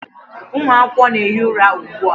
Ụmụ akwụkwọ na-ehi ụra ugbu a.